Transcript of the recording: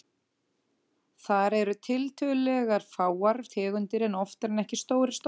Þar eru tiltölulega fáar tegundir en oftar en ekki stórir stofnar.